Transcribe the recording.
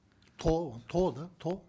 тоо тоо да тоо